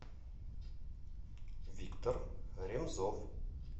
виктор ремзов